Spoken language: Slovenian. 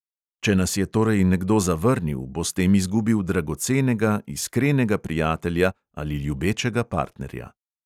Če nas je torej nekdo zavrnil, bo s tem izgubil dragocenega, iskrenega prijatelja ali ljubečega partnerja.